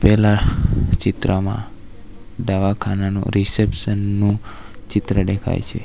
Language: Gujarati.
પેલા ચિત્રમાં ડવાખાનાનું રિસેપ્શન નું ચિત્ર ડેખાય છે.